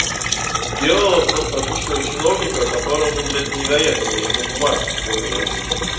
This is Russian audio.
сделала просто обычного чиновника которому блять не до этого ему бумажки в первую очередь